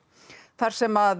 þar sem